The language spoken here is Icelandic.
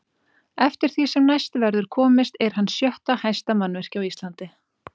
Eftir því sem næst verður komist er hann sjötta hæsta mannvirki á Íslandi.